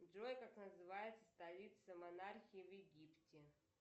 джой как называется столица монархии в египте